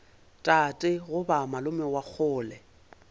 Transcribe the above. tate goba malome wa kgole